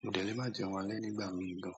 Mo de le máa jẹun alẹ́ nígbà mìí gan.